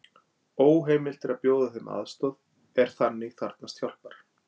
Óheimilt er að bjóða þeim aðstoð er þannig þarfnast hjálpar.